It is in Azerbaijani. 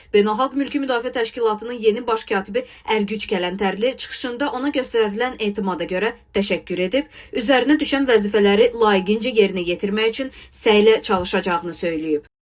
Beynəlxalq Mülki Müdafiə Təşkilatının yeni baş katibi Ərgüc Kələntərli çıxışında ona göstərilən etimada görə təşəkkür edib, üzərinə düşən vəzifələri layiqincə yerinə yetirmək üçün səylə çalışacağını söyləyib.